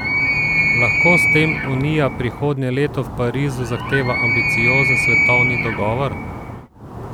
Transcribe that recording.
Lahko s tem Unija prihodnje leto v Parizu zahteva ambiciozen svetovni dogovor?